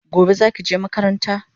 Gobe zaki je makaranta?